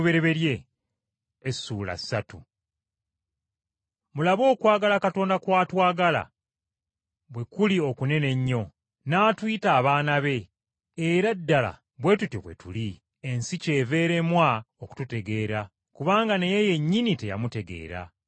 Mulabe okwagala Katonda kw’atwagala bwe kuli okunene ennyo, n’atuyita abaana be, era ddala bwe tutyo bwe tuli. Ensi kyeva eremwa okututegeera, kubanga naye yennyini teyamutegeera.